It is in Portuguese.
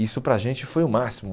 Isso para a gente foi o máximo.